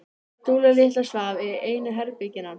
Dúlla litla svaf í einu herbergjanna.